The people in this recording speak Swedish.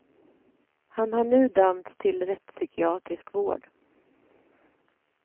Han har nu dömts till rättspsykiatrisk vård.